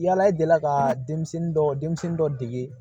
Yala i delila ka denmisɛnnin dɔ denmisɛnnin dɔ dege